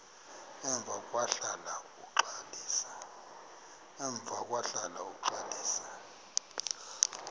emva kwahlala uxalisa